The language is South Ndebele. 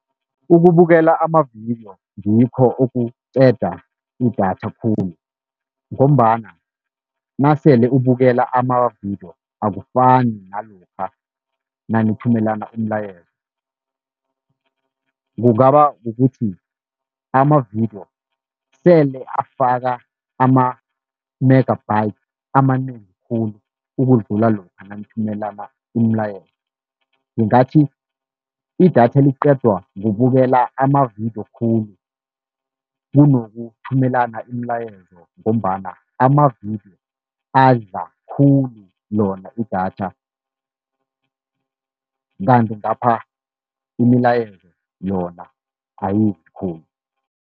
Ukubukela amavidiyo ngikho okuqeda idatha khulu, ngombana nasele ubukela amavidiyo akufani nalokha nanithumelana umlayezo. Kungaba kukuthi amavidiyo sele afaka ama-megabytes amanengi khulu, ukudlula lokha nanithumelana imilayezo. Ngingathi idatha liqedwa kubukela amavidiyo khulu kunokuthumelana imilayezo, ngombana amavidiyo adla khulu lona idatha kanti ngapha imilayezo yona ayidli khulu.